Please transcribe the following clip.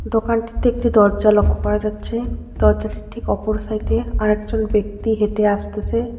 দোকানটিতে একটি দরজা লক্ষ করা যাচ্ছে দরজাটির ঠিক অপর সাইডে আর একজন ব্যাক্তি হেঁটে আসতেছে।